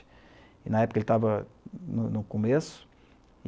E na época ele estava no no começo.